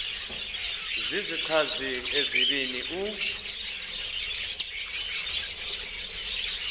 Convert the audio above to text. zizichazi ezibini u